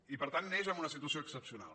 i per tant neix en una situació excepcional